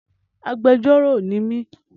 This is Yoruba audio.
Agbẹjọ́rọ̀ ni mí.